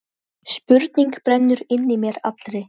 Mér fannst ég ekki eiga heima þar lengur.